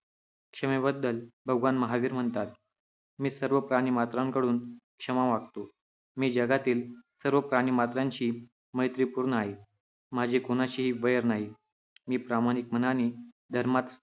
क्षमेबद्दल भगवान महावीर म्हणतात- 'मी सर्व प्राणिमात्रांकडून क्षमा मागतो. मी जगातील सर्व प्राणिमात्रांशी मैत्रीपूर्ण आहे. माझे कोणाशीही वैर नाही. मी प्रामाणिक मनाने धर्मात